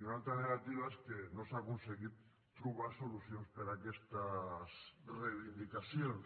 i una altra de negativa és que no s’ha aconseguit trobar solucions per a aquestes reivindicacions